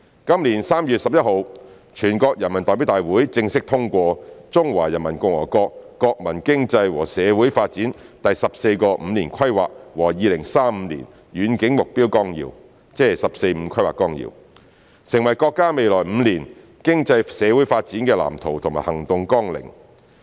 今年3月11日，全國人民代表大會正式通過《中華人民共和國國民經濟和社會發展第十四個五年規劃和2035年遠景目標綱要》，成為國家未來5年經濟社會發展的藍圖和行動綱領。